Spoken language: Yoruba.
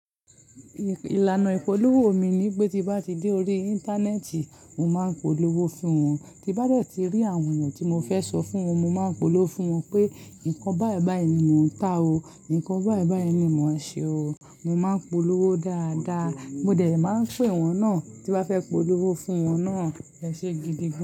Ìlànà ìpolówó mi ni pé tí bá ti dé orí Íńtánẹ́ẹ̀tì, mo máa ń polówó fún wọn. Tí bá deti rí àwọn eyan tí mo fẹ́ sọ fún wọn, mo máa ń polówó fún wọn pé, "nǹkan báyìí báyìí ni mò ń ta o. Nǹkan báyìí báyìí ni mò ń ṣe o. Mo máa ń polówó dáadáa, mo dẹ̀ máa ń pè wọ́n náà tí n ba fẹ́ polówó fún wọ́n náà ẹṣẹ gidi gan.